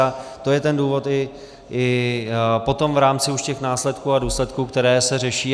A to je ten důvod i potom v rámci už těch následků a důsledků, které se řeší.